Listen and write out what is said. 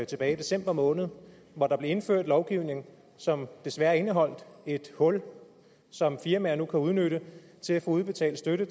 tilbage i december måned hvor der blev indført en lovgivning som desværre indeholdt et hul som firmaer nu kan udnytte til at få udbetalt støtte